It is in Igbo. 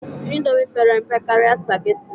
Indomi pere mpe karịa spageti